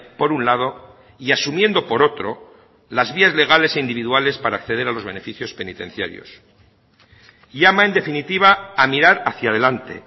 por un lado y asumiendo por otro las vías legales e individuales para acceder a los beneficios penitenciarios llama en definitiva a mirar hacia delante